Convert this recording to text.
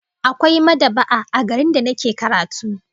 Akwai mad'aba'a a garin da nake karatu